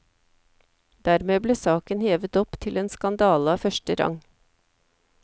Dermed ble saken hevet opp til en skandale av første rang.